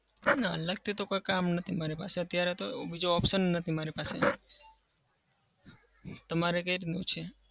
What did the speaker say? ના. અલગથી તો કોઈ કામ નથી મારે પાસે અત્યારે તો બીજો option નથી મારી પાસે. તમારે કઈ રીતનું છે?